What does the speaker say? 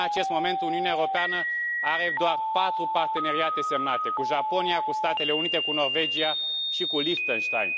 În acest moment, Uniunea Europeană are doar patru parteneriate semnate cu Japonia, cu Statele Unite, cu Norvegia și cu Liechtenstein.